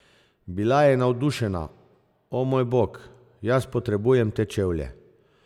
Bila je navdušena: 'O moj bog, jaz potrebujem te čevlje.